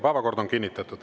Päevakord on kinnitatud.